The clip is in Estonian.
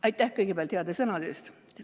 Aitäh kõigepealt heade sõnade eest!